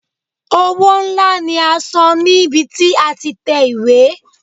Owó ńlá ni a san níbi tí a ti tẹ ìwé.